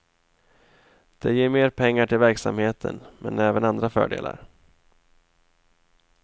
Det ger mer pengar till verksamheten, men även andra fördelar.